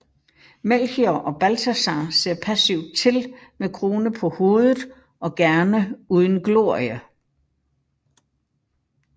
Melchior og Balthasar ser passivt til med krone på hovedet og gerne uden glorie